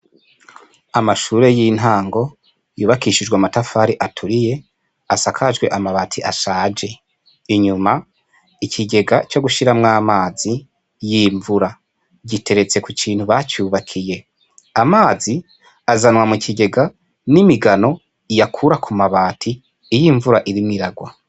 Amashure y'intango, yubakishijwe amatafari aturiye, asakajwe amabati ashaje, inyuma ikigega co gushiramwo amazi y'imvura, giteretse ku kintu bacubakiye, amazi azanwa mu kigega n'imigano iyakura ku mabati iyo imvura irimwo iragwa.